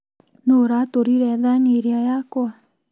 Nũũ ũratũrire thani ĩrĩa yakwa